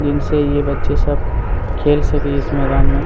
जिनसे ये बच्चे सब खेल सके इस मैदान मे--